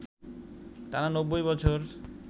টানা ৯০ বছর